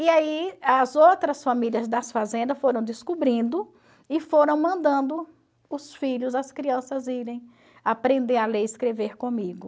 E aí, as outras famílias das fazendas foram descobrindo e foram mandando os filhos, as crianças, irem aprender a ler e escrever comigo.